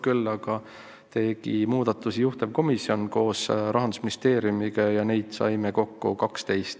Küll aga tegi muudatusi juhtivkomisjon koos Rahandusministeeriumiga, neid sai kokku 12.